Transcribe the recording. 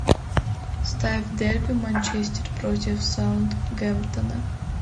ставь дерби манчестер против саутгемптона